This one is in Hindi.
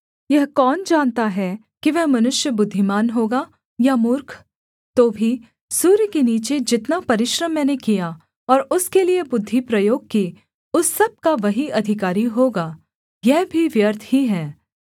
यह कौन जानता है कि वह मनुष्य बुद्धिमान होगा या मूर्ख तो भी सूर्य के नीचे जितना परिश्रम मैंने किया और उसके लिये बुद्धि प्रयोग की उस सब का वही अधिकारी होगा यह भी व्यर्थ ही है